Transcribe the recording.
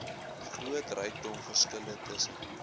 groot rykdomverskille tussen